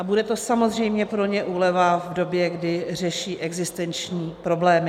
A bude to samozřejmě pro ně úleva v době, kdy řeší existenční problémy.